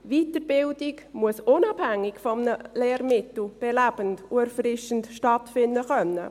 Die Weiterbildung muss unabhängig von einem Lehrmittel belebend und erfrischend stattfinden können.